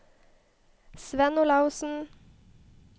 Svend Olaussen